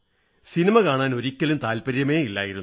cinema കാണാൻ ഒരിക്കലും താത്പര്യമേ ഇല്ലായിരുന്നു